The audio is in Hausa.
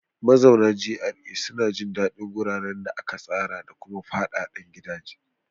Mazaunan GRA suna jin daɗin guraren da aka tsara da kuma fadadan gidaje.